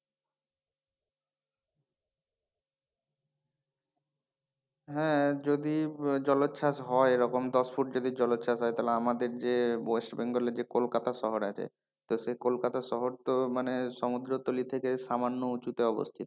হ্যাঁ যদি জলোচ্ছ্বাস হয় এরকম দশ ফুট যদি জলোচ্ছ্বাস হয় তাহলে আমাদের যে ওয়েস্ট বেঙ্গল এ যে কলকাতা শহর আছে তো সেই কলকাতা শহর তো মানে সমুদ্র তলী থেকে সামান্য উঁচুতে অবস্থিত।